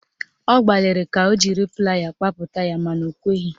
Ọ gbaliri ka o jiri playa kpapụta ya mana o kweghị